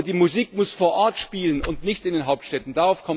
Aber die Musik muss vor Ort spielen und nicht in den Hauptstädten.